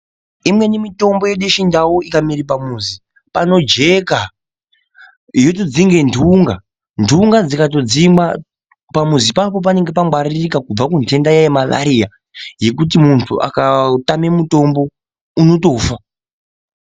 Imweni mitombo yedu yechindau ikamere pamuzi panojeka yotodzinge ntunga ntunga dzikatodzimwa pamuzi ipapo panenge pangwaririka kubva kuntenda yemalariya yekuti muntu akatotame mutombo unotofa.